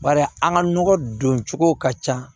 Bari an ka nɔgɔ don cogo ka ca